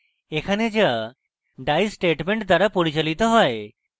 এখানে যা die statement দ্বারা পরিচালিত হয়